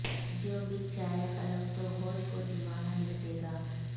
جو بک جائے قلم تو ہوش کو دیوانہ لکھ دیگا